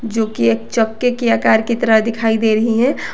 जोकि एक चक्के के आकार की तरह दिखाई दे रही है।